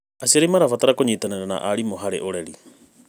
Aciari mabatiĩ kũnyitanĩra na arimũ harĩ ũreri.